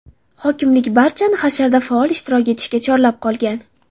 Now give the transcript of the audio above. Hokimlik barchani hasharda faol ishtirok etishga chorlab qolgan.